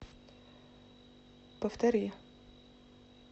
повтори